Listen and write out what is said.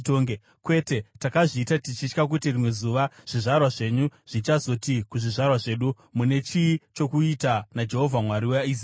“Kwete! Takazviita tichitya kuti rimwe zuva zvizvarwa zvenyu zvichazoti kuzvizvarwa zvedu, ‘Mune chii chokuita naJehovha Mwari waIsraeri?